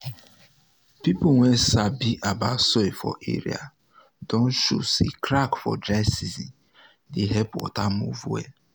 people wey sabi about soil for area don show say crack for dry season dey help water move well